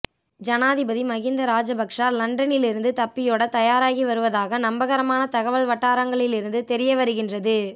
ஜனாதிபதி மஹிந்த ராஜபக்ஷ லண்டனிலிருந்து தப்பியோடத் தயாராகி வருவதாக நம்பகரமான தகவல் வட்டாரங்களிலிருந்து தெரிய வருகின்றது